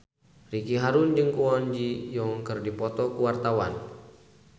Ricky Harun jeung Kwon Ji Yong keur dipoto ku wartawan